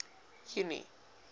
junie